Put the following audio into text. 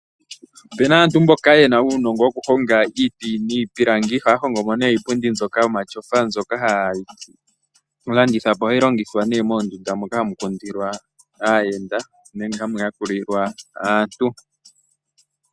Opuna aantu mboka ye na uunongo wokuhonga iiti niipilangi. Ohaya hongo mo nee iipundi mbyoka yomatyofa, mbyoka haye yi landitha po. Ohayi longithwa nee moondunda moka hamu kundilwa aayenda nenge hamu yakulilwa aantu.